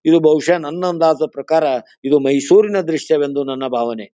ಇದು ಬಹುಶಃ ನನ್ನ ಅಂದಾಜಿನ ಪ್ರಕಾರ ಇದು ಮೈಸೂರಿನ ದೃಶ್ಯ ಎಂದು ನನ್ನ ಭಾವನೆ.